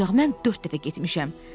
Ancaq mən dörd dəfə getmişəm.